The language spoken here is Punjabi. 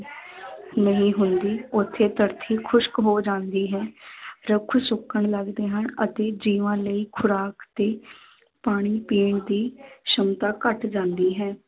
ਨਹੀਂ ਹੁੰਦੀ, ਉੱਥੇ ਧਰਤੀ ਖੁਸਕ ਹੋ ਜਾਂਦੀ ਹੈ ਰੁੱਖ ਸੁੱਕਣ ਲੱਗਦੇ ਹਨ ਅਤੇ ਜੀਵਾਂ ਲਈ ਖੁਰਾਕ ਤੇ ਪਾਣੀ ਪੀਣ ਦੀ ਸੰਮਤਾ ਘੱਟ ਜਾਂਦੀ ਹੈ।